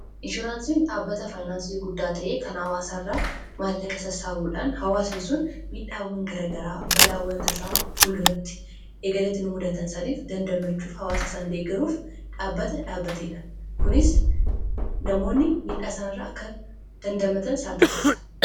Inshuraansiin dhaabbata faayinaansii guddaa ta'ee kan hawaasa irraa maallaqa sassaabuudhaan hawaasni sun miidhaawwan garaa garaa balaawwan tasaa fulduratti, egereetti nu mudatan saniif dandamachuuf hawaasa sana deeggaruuf dhaabbata dhaabateedha. Kunis namoonni miidhaa isanii irraa akka dandamatan isaan taasisa.